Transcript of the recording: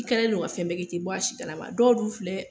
I kɛlɛ don ka fɛn bɛɛ kɛ, i te bɔ a si kalama. Dɔw b'u filɛ